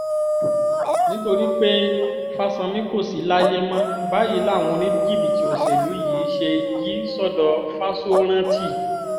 nítorí pé fáṣánmi kò sì láyè mọ́ báyìí làwọn oníjìbìtì òṣèlú yìí ṣe yí sọ́dọ̀ fáṣórántì